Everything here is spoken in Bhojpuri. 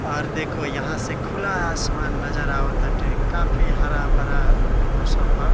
आर देखो यहाँ से खुला आसमान नजर आव ताटे काफी हरा-भरा मौसम बा।